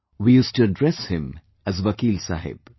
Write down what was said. We used to address him as Vakeel Saheb